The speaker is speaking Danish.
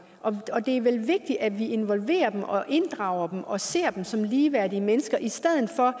og det er vel vigtigt at vi involverer dem og inddrager dem og ser dem som ligeværdige mennesker i stedet for